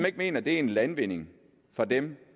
ikke mener det er en landvinding for dem